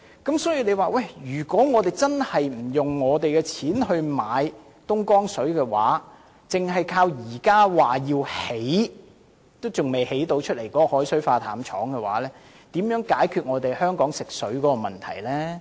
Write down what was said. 因此，如果我們真的不花費任何金錢購買東江水的話，則單靠現時說要興建但未成事的海水化淡廠，如何能解決香港的食水問題呢？